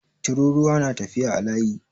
Tururuwa na tafiya a layi